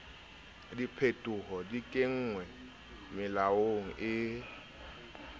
diphetoho di kenngwe melaong e